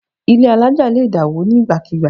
Ilé àlája lè dá wo ni nígbàkigbà